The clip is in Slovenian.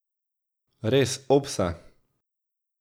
Res, opsa!